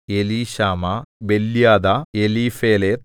Elishama Beeliada Eliphelet